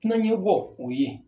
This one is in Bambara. Kunan yɛbɔ o ye